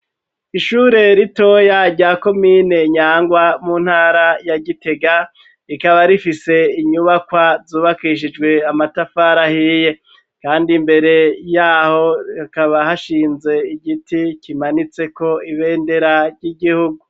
Ishure ritoya rya komine Nyangwa mu ntara ya Gitega rikaba rifise inyubakwa zubakishijwe amatafari ahiye kandi imbere yaho hakaba hashinze igiti kimanitseko ibendera ry'igihugu .